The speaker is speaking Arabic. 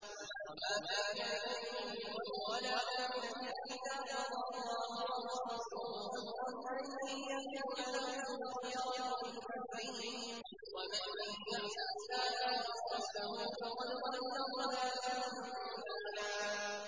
وَمَا كَانَ لِمُؤْمِنٍ وَلَا مُؤْمِنَةٍ إِذَا قَضَى اللَّهُ وَرَسُولُهُ أَمْرًا أَن يَكُونَ لَهُمُ الْخِيَرَةُ مِنْ أَمْرِهِمْ ۗ وَمَن يَعْصِ اللَّهَ وَرَسُولَهُ فَقَدْ ضَلَّ ضَلَالًا مُّبِينًا